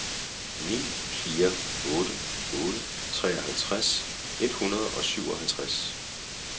ni fire otte otte treoghalvtreds et hundrede og syvoghalvtreds